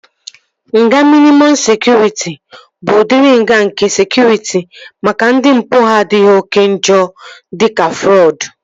Nga mịnịmọm sekụritị bụ udiri nga nke sekụritị maka ndị mpụ ha adịghị oké njọ dịka frọdụ